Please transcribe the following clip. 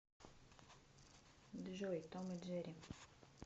джой том и джерри